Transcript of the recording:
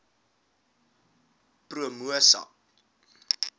promosa